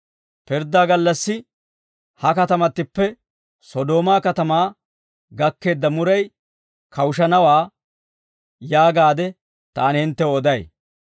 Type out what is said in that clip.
Pirddaa gallassi ha katamattippe Sodoomaa katamaa gakkeedda muray kawushanawaa yaagaade taani hinttew oday.